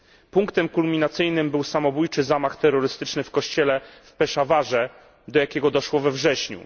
Punktem kulminacyjnym był samobójczy zamach terrorystyczny w kościele w Peszawarze, do jakiego doszło we wrześniu.